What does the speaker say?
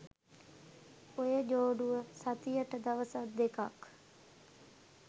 ඔය ජෝඩුව සතියට දවසක් දෙකක්